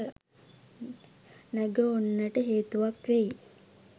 නැග ඔන්නට හේතුවක් වෙයි.